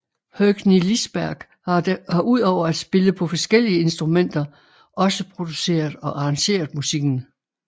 Høgni Lisberg har udover at spille på forskellige instrumenter også produceret og arrangeret musikken